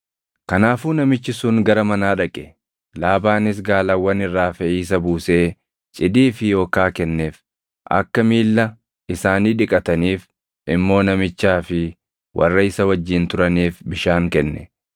Kanaafuu namichi sun gara manaa dhaqe; Laabaanis gaalawwan irraa feʼiisa buusee cidii fi okaa kenneef; akka miilla isaanii dhiqataniif immoo namichaa fi warra isa wajjin turaniif bishaan kenne.